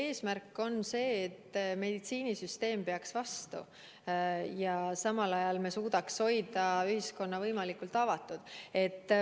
Eesmärk on see, et meditsiinisüsteem peaks vastu ja samal ajal me suudaks hoida ühiskonna võimalikult avatud.